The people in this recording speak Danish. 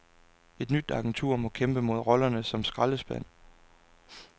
Et nyt agentur må kæmpe mod rollen som skraldespand.